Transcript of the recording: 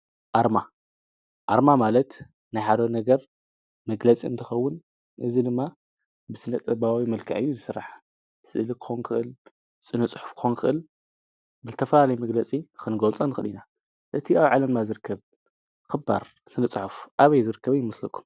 ኣርማ ኣርማ ማለት ንኃዶ ነገር መግለጺ እንትኸውን እዝ ድማ ብስነጠባባዊ መልካእ ዝሥራሕ ሥእል ኮንክእል ጽንጽሕፍ ኾንክእል ብልተፋላለይ መግለጺ ኽንጐልፃን ኽዲና እቲ ኣው ዓለም ኣዝርከብ ኽባር ስንጽሖፍ ኣበይ ዝርከበ ይምስለኩ።